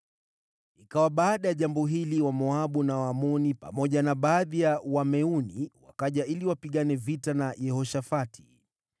Ikawa baada ya jambo hili, Wamoabu na Waamoni, pamoja na baadhi ya Wameuni wakaja ili wapigane vita na Yehoshafati.